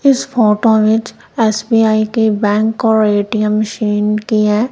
इस फोटो विच एस_बी_आई के बैंक और ए_टी_एम मशीन की है।